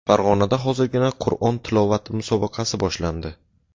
Farg‘onada hozirgina Qur’on tilovati musobaqasi boshlandi.